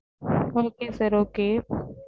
Okay sir okay